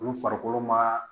Olu farikolo ma